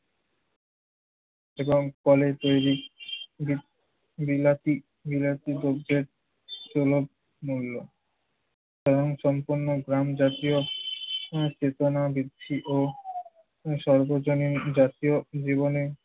এবং কলের তৈরি বি~ বিলাতি~ বিলাতি দ্রব্যের সুলভ মূল্য এবং কোম্পানির প্রাণজাতীয় ঠিকানা দিচ্ছি ও সর্বজনীন জাতীয় জীবনে